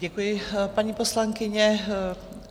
Děkuji, paní poslankyně.